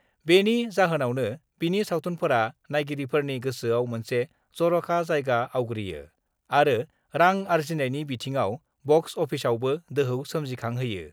बेनि जाहोनावनो बिनि नायगिरिफोरनि गोसोआव मोनसे जर'खा जायगा आवग्रियो आरो रां आरजिनायनि बिथिङाव बक्स अफिसआवबो दोहौ सोमजिखांहोयो।